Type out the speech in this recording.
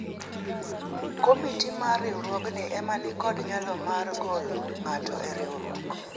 komiti mar riwruogno ema nikod nyalo mar golo ng'ato e riwruok